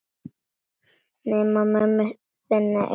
Nema mömmu þinni einu sinni.